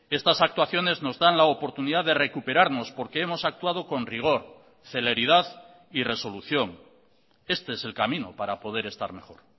estas actuaciones nos dan la oportunidad de recuperarnos porque hemos actuado con rigor celeridad y resolución este es el camino para poder estar mejor